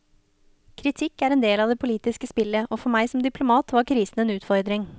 Kritikk er en del av det politiske spillet, og for meg som diplomat var krisen en utfordring.